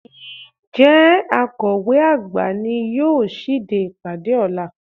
Ǹjẹ́ Akọ̀we àgbà ni yóò ṣíde ìpàdé ọ̀la?